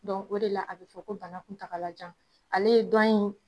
o de la, a bɛ fɔ ko bana kuntakalajan, ale ye dɔn in